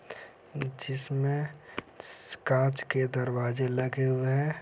जिसमे कांच के दरवाजे लगे हुए है।